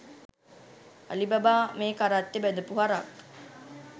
Alibaba මෙ කරත්තෙ බැදපු හරක්